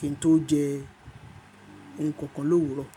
kí n tó jẹ ohun kankan l’òwúrọ̀.